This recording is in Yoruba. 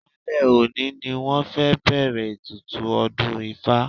Alẹ́ òní ni wọ́n fẹ́ bẹ̀ẹ̀rẹ̀ ètùtù ọdún ifá.